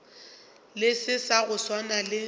selo sa go swana le